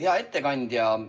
Hea ettekandja!